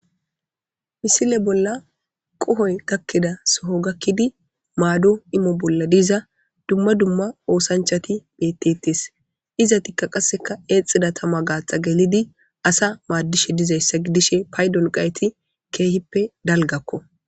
Misile bolla qohoy gakkeda soho gakkidi maado imo bolla diza dumma dumma oosanchati bettetes izatikka qasseka eexxida tama gaaxa gelidi asa maaddishe dizayssa gidishe paydon qayti keehippe dalgakko.